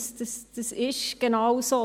Das ist genau so.